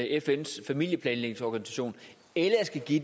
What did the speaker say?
fns familieplanlægningsorganisation eller at give